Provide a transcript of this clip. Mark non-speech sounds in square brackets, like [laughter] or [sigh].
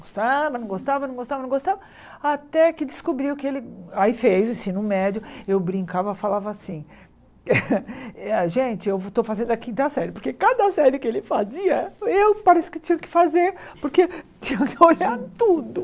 Gostava, não gostava, não gostava, não gostava, até que descobriu que ele... Aí fez o ensino médio, eu brincava, falava assim, gente, [laughs] eu estou fazendo a quinta série, porque cada série que ele fazia, eu parecia que tinha que fazer, porque tinha que olhar tudo.